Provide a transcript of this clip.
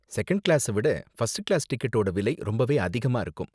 Second கிளாஸ விட first class டிக்கெட்டோட விலை ரொம்பவே அதிகமா இருக்கும்.